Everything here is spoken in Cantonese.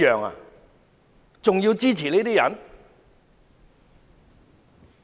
還要支持這些人嗎？